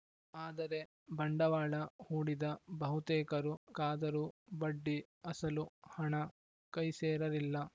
ಆದರೆ ಬಂಡವಾಳ ಹೂಡಿದ ಬಹುತೇಕರು ಕಾದರೂ ಬಡ್ಡಿ ಅಸಲು ಹಣ ಕೈಸೇರಲಿಲ್ಲ